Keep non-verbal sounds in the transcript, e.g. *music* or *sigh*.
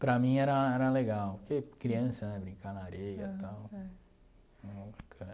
Para mim era era legal, porque criança né, brincar na areia e tal. *unintelligible*